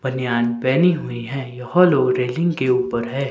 बनियान पहनी हुई है यह लो रेलिंग के ऊपर है।